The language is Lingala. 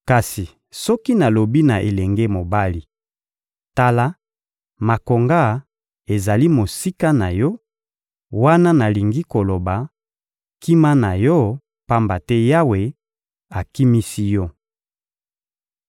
Kasi soki nalobi na elenge mobali: «Tala, makonga ezali mosika na yo;» wana nalingi koloba: «Kima na yo, pamba te Yawe akimisi yo.»